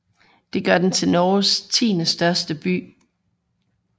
Det gør den til Norges tiendestørste by